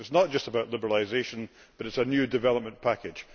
So it is not just about liberalisation, but it is a new development package.